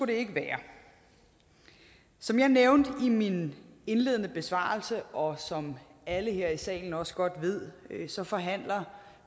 det ikke være som jeg nævnte i min indledende besvarelse og som alle her i salen også godt ved forhandler